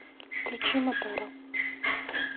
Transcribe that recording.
включи матара